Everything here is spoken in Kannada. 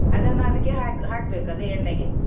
ಅದನ್ನ ಅದಕ್ಕೇ ಹಾಕ್ ಹಾಕ್ಬೇಕು ಅದೇ ಎಣ್ಣೆಗೆ.